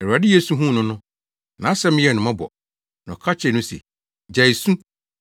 Awurade Yesu huu no no, nʼasɛm yɛɛ no mmɔbɔ, na ɔka kyerɛɛ no se, “Gyae su!”